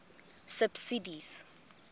subsidies